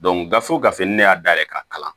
gafe gafe ni ne y'a dayɛlɛ ka kalan